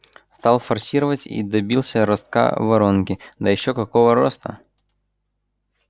стал форсировать и добился ростка воронки да ещё какого роста